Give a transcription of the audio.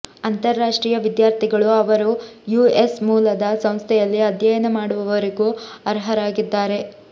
ಅಂತರರಾಷ್ಟ್ರೀಯ ವಿದ್ಯಾರ್ಥಿಗಳು ಅವರು ಯುಎಸ್ ಮೂಲದ ಸಂಸ್ಥೆಯಲ್ಲಿ ಅಧ್ಯಯನ ಮಾಡುವವರೆಗೂ ಅರ್ಹರಾಗಿದ್ದಾರೆ